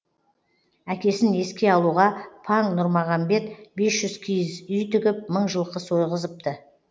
әкесін еске алуға паң нұрмағамбет бес жүз киіз үй тігіп мың жылқы сойғызыпты